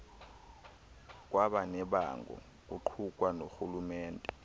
kwabanebango kuqukwa norhulumente